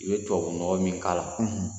I ye tubabunɔgɔ min k'a la